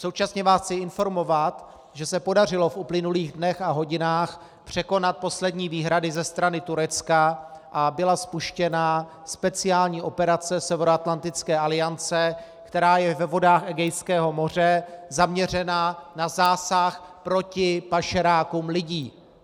Současně vás chci informovat, že se podařilo v uplynulých dnech a hodinách překonat poslední výhrady ze strany Turecka a byla spuštěna speciální operace Severoatlantické aliance, která je ve vodách Egejského moře zaměřena na zásah proti pašerákům lidí.